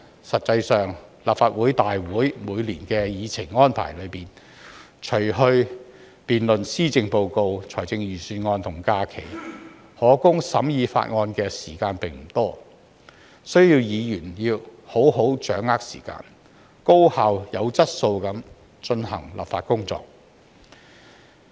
實際上，在立法會會議每年的議程安排中，除去辯論施政報告及財政預算案的時間和假期，可供審議法案的時間並不多，議員需要好好掌握時間，高效及具質素地進行立法工作。